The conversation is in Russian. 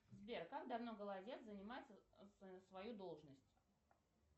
сбер как давно голодец занимает свою должность